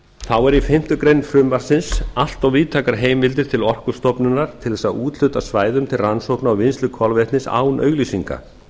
þá eru í fimmtu grein frumvarpsins allt of víðtækar heimildir til orkustofnunar til þess að úthluta svæðum til rannsókna og vinnslu kolvetnis án auglýsinga